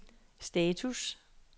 status